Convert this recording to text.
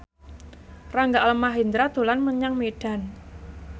Rangga Almahendra dolan menyang Medan